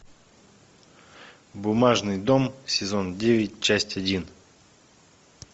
бумажный дом сезон девять часть один